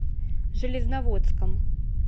железноводском